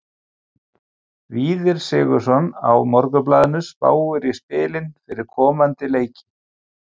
Víðir Sigurðsson á Morgunblaðinu spáði í spilin fyrir komandi leiki.